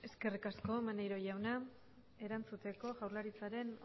eskerrik asko maneiro jauna erantzuteko jaurlaritzaren